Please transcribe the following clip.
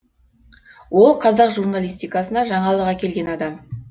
ол қазақ журналистикасына жаңалық әкелген адам